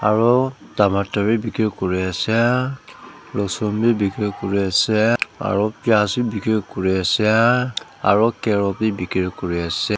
aru tomatar bi bikiri kuri ase losun bi bikiri kuri ase aru pias bi bikiri kuri ase aru carrot bi bikiri kuri ase.